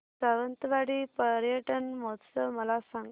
सावंतवाडी पर्यटन महोत्सव मला सांग